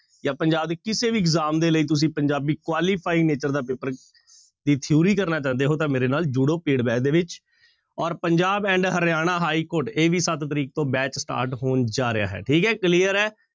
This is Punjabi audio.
ਜਾਂ ਪੰਜਾਬ ਦੇ ਕਿਸੇ ਵੀ exam ਦੇ ਲਈ ਤੁਸੀਂ ਪੰਜਾਬੀ qualify ਦਾ ਪੇਪਰ ਦੀ theory ਕਰਨਾ ਚਾਹੁੰਦੇ ਹੋ ਤਾਂ ਮੇਰੇ ਨਾਲ ਜੁੜੋ paid batch ਦੇ ਵਿੱਚ ਔਰ ਪੰਜਾਬ and ਹਰਿਆਣਾ ਹਾਈਕੋਰਟ, ਇਹ ਵੀ ਸੱਤ ਤਰੀਕ ਤੋਂ batch start ਹੋਣ ਜਾ ਰਿਹਾ ਹੈ ਠੀਕ ਹੈ clear ਹੈ।